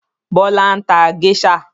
Bọlá ń ta géṣà